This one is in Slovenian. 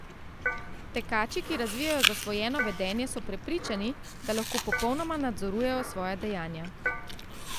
Tekači, ki razvijejo zasvojeno vedenje, so prepričani, da lahko popolnoma nadzorujejo svoja dejanja.